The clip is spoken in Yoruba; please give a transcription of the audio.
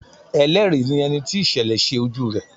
Ẹlẹ́rìí ni ẹni tí ìṣẹ̀lẹ̀ ṣe ojú rẹ̀.